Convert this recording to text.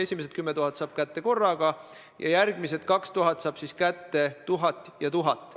Esimesed 10 000 saab ta kätte korraga ja järgmised 2000 kahel korral: 1000 ja 1000.